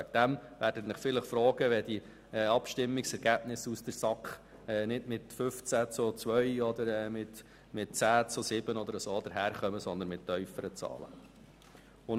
Sie werden sich sonst vielleicht über die Abstimmungsergebnisse aus der SAK wundern, die nicht mit 15 zu 2 oder 10 zu 7, sondern mit tieferen Zahlen ausfallen.